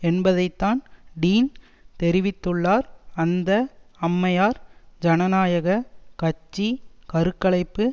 என்பதைத்தான் டீன் தெரிவித்துள்ளார் அந்த அம்மையார் ஜனநாயக கட்சி கரு கலைப்பு